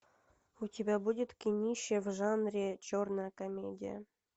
у тебя будет кинище в жанре черная комедия